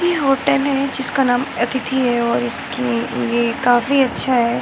ये होटल है जिसका नाम अतिथि है और इसकी ये काफी अच्छा है।